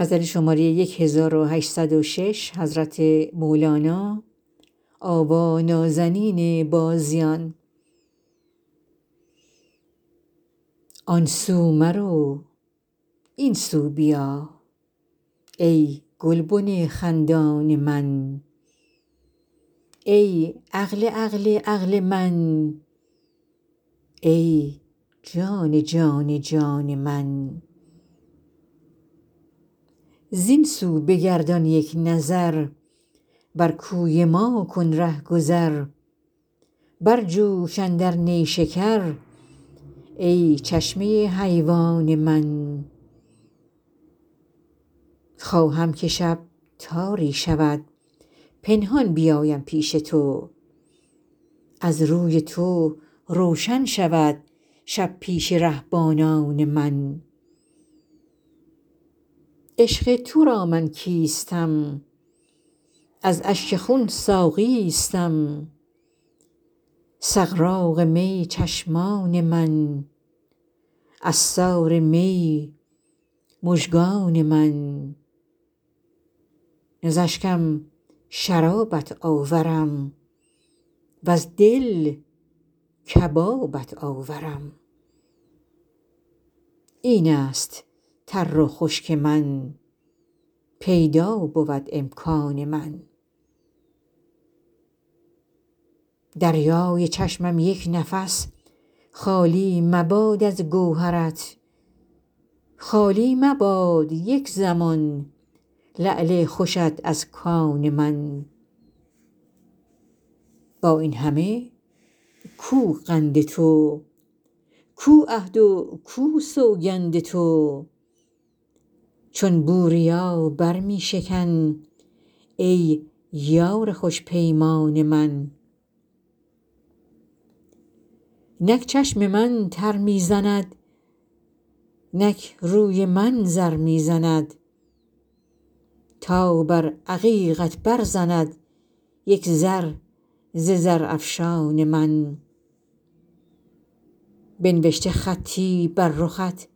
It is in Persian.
آن سو مرو این سو بیا ای گلبن خندان من ای عقل عقل عقل من ای جان جان جان من زین سو بگردان یک نظر بر کوی ما کن رهگذر برجوش اندر نیشکر ای چشمه حیوان من خواهم که شب تاری شود پنهان بیایم پیش تو از روی تو روشن شود شب پیش رهبانان من عشق تو را من کیستم از اشک خون ساقیستم سغراق می چشمان من عصار می مژگان من ز اشکم شرابت آورم وز دل کبابت آورم این است تر و خشک من پیدا بود امکان من دریای چشمم یک نفس خالی مباد از گوهرت خالی مبادا یک زمان لعل خوشت از کان من با این همه کو قند تو کو عهد و کو سوگند تو چون بوریا بر می شکن ای یار خوش پیمان من نک چشم من تر می زند نک روی من زر می زند تا بر عقیقت برزند یک زر ز زرافشان من بنوشته خطی بر رخت